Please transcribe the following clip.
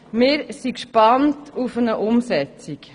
Wir sind gespannt auf deren Umsetzung.